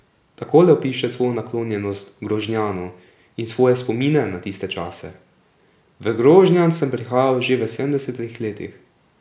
Takole opiše svojo naklonjenost Grožnjanu in svoje spomine na tiste čase: 'V Grožnjan sem prihajal že v sedemdesetih letih.